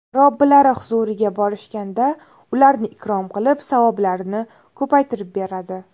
Robbilari huzuriga borishganda ularni ikrom qilib, savoblarini ko‘paytirib beradi.